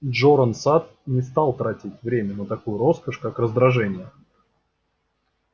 джоран сатт не стал тратить время на такую роскошь как раздражение